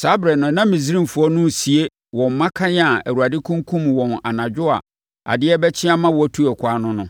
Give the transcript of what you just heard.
Saa ɛberɛ no, na Misraimfoɔ no resie wɔn mmakan a Awurade kunkumm wɔn anadwo a adeɛ rebɛkye ama wɔatu ɛkwan no no.